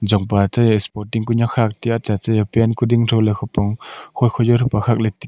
chongpa te spoting kunek khak le chat che pant kuding tho le khupong khoi khoi jo pe khak le tega.